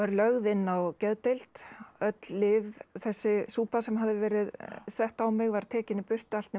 lögð inn á geðdeild öll lyf þessi súpa sem hafði verið sett á mig var tekin í burtu allt nema